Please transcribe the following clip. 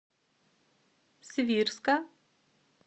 свирска